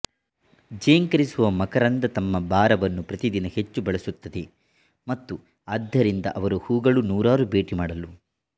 ಝೇಂಕರಿಸುವ ಮಕರಂದ ತಮ್ಮ ಭಾರವನ್ನು ಪ್ರತಿ ದಿನ ಹೆಚ್ಚು ಬಳಸುತ್ತದೆ ಮತ್ತು ಆದ್ದರಿಂದ ಅವರು ಹೂಗಳು ನೂರಾರು ಭೇಟಿ ಮಾಡಲು